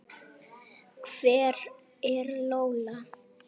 Hver er Lola?